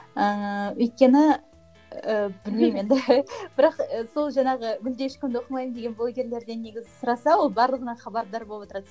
ііі өйткені і білмеймін енді бірақ сол жаңағы мүлде ешкімді оқымаймын деген блогерлерден негізі сұраса ол барлығынан хабардар болып отырады